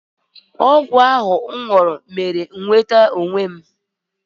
Ọgwụ ahụ m ṅụrụ mere m nweta onwe m.